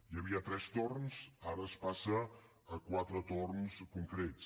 hi havia tres torns ara es passa a quatre torns concrets